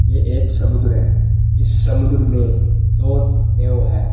ये एक समुद्र है इस समुद्र में दो नेव है।